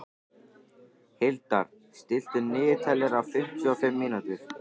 Hildar, stilltu niðurteljara á fimmtíu og fimm mínútur.